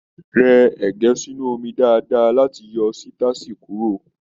Rẹ ẹgẹ sínú omi dáadáa láti yọ sitasi kuro!